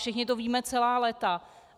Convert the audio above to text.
Všichni to víme celá léta.